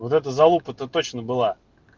вот эта залупа то точно была